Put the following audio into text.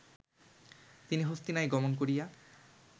তিনি হস্তিনায় গমন করিয়া